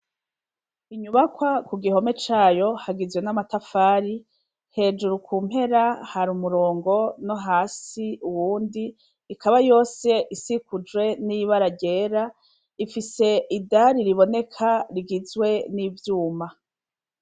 Inyubakwa ku gihome cayo hagizwe n'amatafari hejuru ku mpera hari umurongo no hasi uwundi ikaba yose isikujwe n'ibararyera ifise idari riboneka rigizwe n'ivyuma.